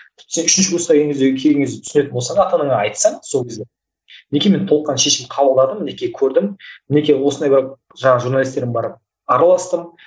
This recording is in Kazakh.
сен үшінші курсқа келген кезде кейінгі кезде түсінетін болсаң ата анаңа айтсаң сол кезде мінекей мен толыққанды шешім қабылдадым мінекей көрдім мінекей осындай барып жаңағы журналистермен барып араластым